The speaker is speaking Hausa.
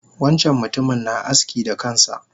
Wancan mutumin na aski da kansa